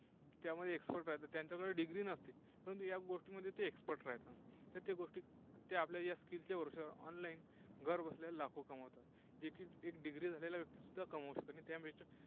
त्यामध्ये expert आहेत, त्यांच्याकडे Degree नसते. परंतु या गोष्टीमध्ये ते Expert राहतात. तर त्या गोष्टी त्या आपल्या ज्या skill च्या वरती online घर बसल्या लाखो कमवतात. जे की एक Degree झालेला व्यक्तीसुद्धा कमवू शकता नाही.